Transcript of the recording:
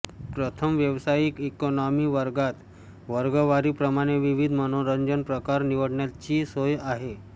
प्रथम व्यावसायिक इकॉनॉमी वर्गात वर्गवारी प्रमाणे विविध मनोरंजन प्रकार निवडण्याची सोय आहे